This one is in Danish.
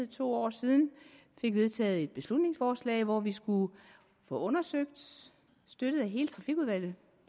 to år siden fik vedtaget et beslutningsforslag hvor vi skulle få undersøgt støttet af hele trafikudvalget